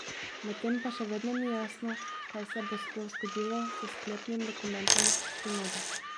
Medtem pa še vedno ni jasno, kaj se bo sploh zgodilo s sklepnim dokumentom sinode.